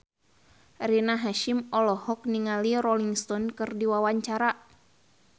Rina Hasyim olohok ningali Rolling Stone keur diwawancara